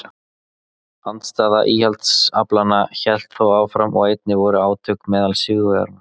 Andstaða íhaldsaflanna hélt þó áfram og einnig voru átök meðal sigurvegaranna.